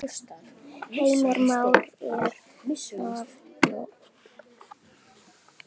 Heimir Már: Er það nóg?